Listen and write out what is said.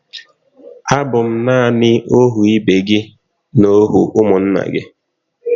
Abụ m naanị ọhụ ibe gị na ọhụ ụmụnna gị...